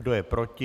Kdo je proti?